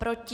Proti?